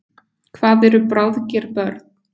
Hvað eru bráðger börn?